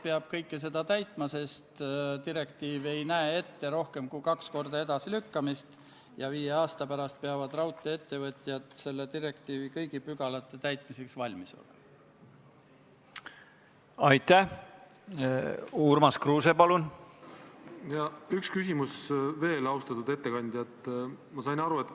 Tänane kaheksas päevakorrapunkt on Vabariigi Valitsuse esitatud Riigikogu otsuse "Kaitseväe kasutamine Eesti riigi rahvusvaheliste kohustuste täitmisel Põhja-Atlandi Lepingu Organisatsiooni reageerimisjõudude koosseisus" eelnõu 69 teine lugemine.